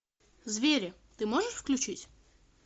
звери ты можешь включить